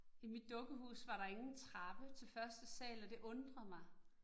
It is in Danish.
I mit dukkehus var der ingen trappe til første sal, og det undrede mig